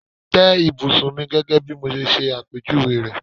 Tẹ́ ìbùsùn mi gẹ́gẹ́ bí mo ṣe ṣẹ àpèjúwe rẹ̀!